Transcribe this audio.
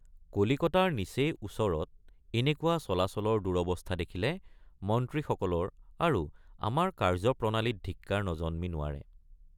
কলিকতাৰ নিচেই ওচৰত এনেকুৱা চলাচলৰ দুৰৱস্থ৷ দেখিলে মন্ত্ৰীসকলৰ আৰু আমাৰ কাৰ্যপ্ৰণালীত ধিক্কাৰ নজন্মি নোৱাৰে।